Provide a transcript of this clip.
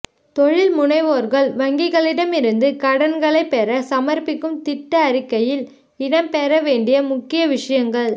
தொழில்முனைவோர்கள் வங்கிகளிடமிருந்து கடன்களை பெற சமர்பிக்கும் திட்ட அறிக்கையில் இடம் பெறவேண்டிய முக்கிய விஷயங்கள்